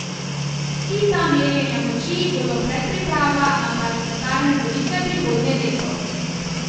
Vsi ta merjenja moči bodo predpriprava na parlamentarne volitve prihodnje leto.